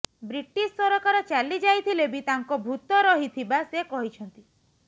British ସରକାର ଚାଲିଯାଇଥିଲେ ବି ତାଙ୍କ ଭୂତ ରହିଥିବା ସେ କହିଛନ୍ତି